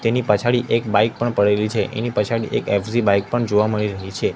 તેની પછાડી એક બાઈક પણ પડેલી છે એની પછાડી એક એફ_ઝી બાઈક પણ જોવા મળી રહી છે.